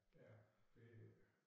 Ja det jo øh